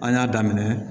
An y'a daminɛ